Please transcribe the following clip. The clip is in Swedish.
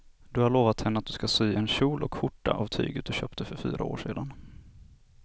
Du har lovat henne att du ska sy en kjol och skjorta av tyget du köpte för fyra år sedan.